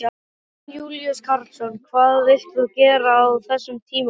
Jón Júlíus Karlsson: Hvað vilt þú gera á þessum tímapunkti?